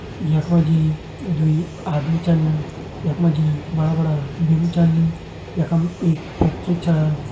यख मा जी दूई आदमी छन यख मा जी बड़ा-बड़ा बिम छन यखम एक फैक्ट्री छा।